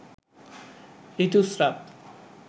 ঋতুস্রাব